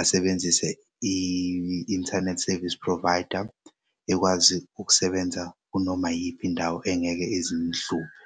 asebenzise i-inthanethi service provider, ekwazi ukusebenza kunoma yiphi indawo engeke ize imhluphe.